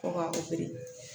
Ko ŋa